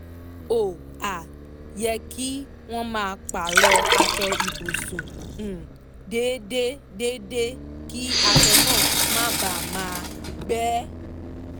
ó um yẹ kí wọ́n máa pààrọ̀ aṣọ ibùsùn um déédé déédé kí aṣọ náà má bàa gbẹ